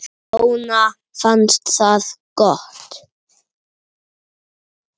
Jonna fannst það gott.